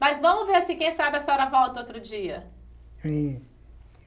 Mas vamos ver se, quem sabe, a senhora volta outro dia. É